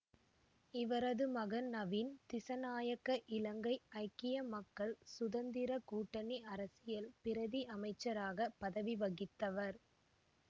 இவரது மகன் நவீன் திசாநாயக்க இலங்கை ஐக்கிய மக்கள் சுதந்திர கூட்டணி அரசில் பிரதி அமைச்சராக பதவி வகித்தவர்